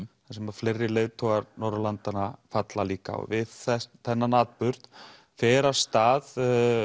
þar sem fleiri leiðtogar Norðurlandanna falla líka við þennan atburð fer af stað